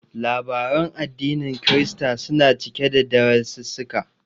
Labaran addinin Kirista suna cike da darasissuka.